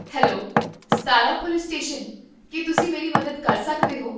Hello, Satara police station, ਕੀ ਤੁਸੀਂ ਮੇਰੀ ਮਦਦ ਕਰ ਸਕਦੇ ਹੋ?